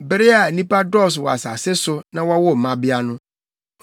Bere a nnipa dɔɔso wɔ asase so na wɔwoo mmabea no,